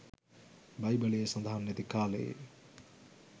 බයිබලයේ සදහන් නැති කාලයේ